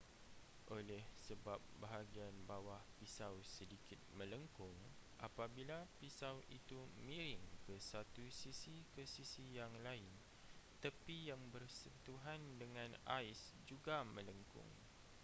oleh sebab bahagian bawah pisau sedikit melengkung apabila pisau itu miring ke satu sisi ke sisi yang lain tepi yang bersentuhan dengan ais juga melengkung